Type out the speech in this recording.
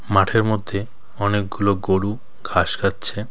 মাঠের মধ্যে অনেকগুলো গরু ঘাস খাচ্ছে.